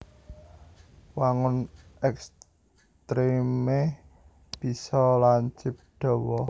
Wangun ekstremé bisa lancip dawa